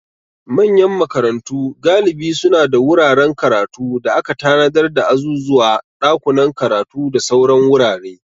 Manyan makarantu galibi suna da wuraren karatu da aka tanadar da azuzuwa, dakunan karatu, da sauran wurare.